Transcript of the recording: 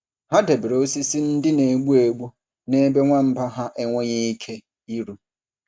Ha debere osisi ndị na-egbu egbu n’ebe nwamba ha enweghị ike iru.